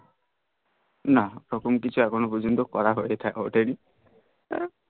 না ইরকম কিছু এখনো পর্যন্ত করা হয়ে হতই নি